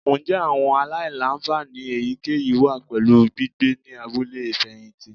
Njẹ awọn alailanfani eyikeyi wa pẹlu gbigbe ni abule ifẹhinti?